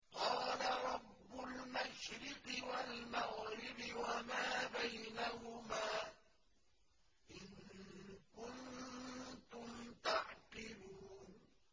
قَالَ رَبُّ الْمَشْرِقِ وَالْمَغْرِبِ وَمَا بَيْنَهُمَا ۖ إِن كُنتُمْ تَعْقِلُونَ